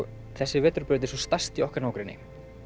þessi vetrarbraut er sú stærsta í okkar nágrenni